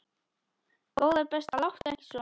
Góða besta láttu ekki svona!